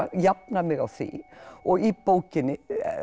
jafna mig á því og í bókinni